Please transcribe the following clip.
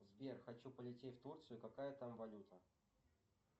сбер хочу полететь в турцию какая там валюта